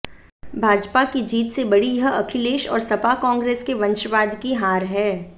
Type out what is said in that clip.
भाजपा की जीत से बड़ी यह अखिलेश और सपा कांग्रेस के वंशवाद की हार है